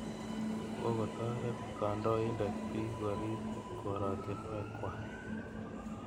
Kokotoret kandoindet piik korip koratinwek kwak.